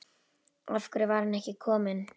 Af hverju var hann ekki kominn?